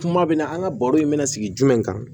Kuma bɛ na an ka baro in bɛna sigi jumɛn kan